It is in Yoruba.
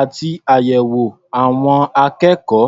àti àyẹ̀wò àwọn akékọ̀ọ́.